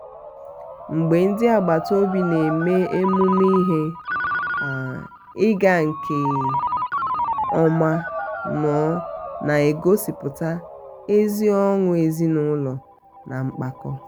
mgbe ndi agbata obi na-eme emume ihe um ịga nke um ọma ọnụọ na-egosipụta ezi ọṅụ ezinụlọ um na mpako.